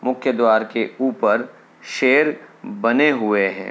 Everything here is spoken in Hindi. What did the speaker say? मुख्य द्वार के ऊपर शेर बने हुए हैं।